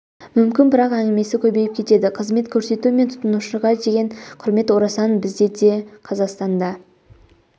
мүмкін бірақ әңгімесі көбейіп кетеді қызмет көрсету мен тұтынушыға деген құрмет орасан біз де қазақстанда